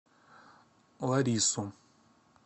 ларису